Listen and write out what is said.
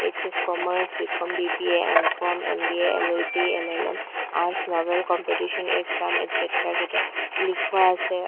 HS commerce B com B B A M com M B A L L B L L M arts novels competition exam একচেত্ৰা কেতা লিখুওৱা আছে আ।